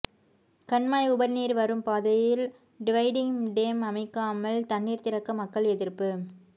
கண்மாய் உபரிநீர் வரும் பாதையில் டிவைடிங் டேம் அமைக்காமல் தண்ணீர் திறக்க மக்கள் எதிர்ப்பு